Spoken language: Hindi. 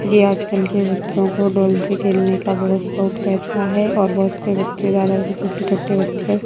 ये आज कल के बच्चो को डॉल से खेलने का बहुत शौक रेहता है और बहुत से बच्चे ज्यादातर छोटे छोटे बच्चे --